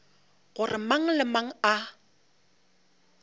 gore mang le mang a